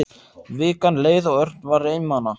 Vikan leið og Örn var einmana.